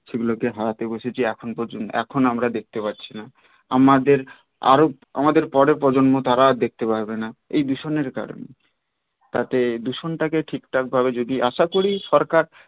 সে গুলোকে হারাতে বসেছি এখন এখন আমরা দেখতে পাচ্ছি না আমাদের আরও আমাদের পরের প্রজন্ম আর দেখতে পাবে না এই দূষণের কারনেই তাতে দূষণ টা কে ঠিক ঠাক ভাবে যদি আশা করি সরকার